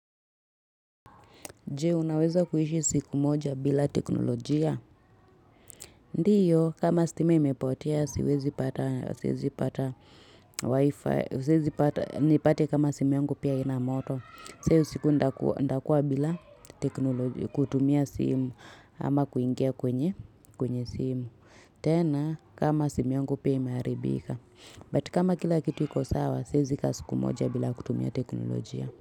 Je, unaweza kuishi siku moja bila teknolojia? Ndiyo, kama stima imepotea, siwezi pata wifi. Siwezi pata, nipate kama simu yangu pia haina moto. Sasa iyo siku nitakua bila teknolojia, kutumia simu ama kuingia kwenye simu. Tena, kama simu yangu pia ime haribika. But kama kila kitu iko sawa, siezi ka siku moja bila kutumia teknolojia.